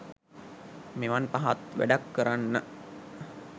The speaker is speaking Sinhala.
මෙවන් පහත් වැඩක් කරන්න